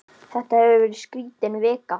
Þetta hefur verið skrítin vika.